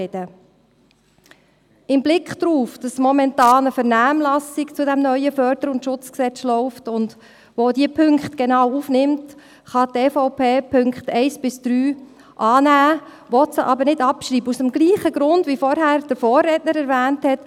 Mit Blick darauf, dass momentan eine Vernehmlassung zu diesem neuen FSG läuft, das auch genau diese Punkte aufnimmt, kann die EVP die Punkte 1–3 annehmen, will sie aber nicht abschreiben – aus demselben Grund, wie ihn mein Vorredner erwähnt hat: